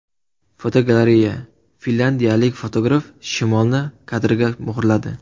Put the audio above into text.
Fotogalereya: Finlyandiyalik fotograf shimolni kadrga muhrladi.